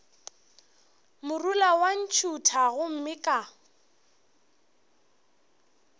morula wa ntšhutha gomme ka